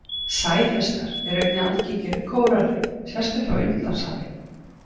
Sæhestar eru einnig algengir við kóralrif sérstaklega á Indlandshafi.